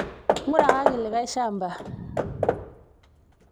ngurakaki likai shamba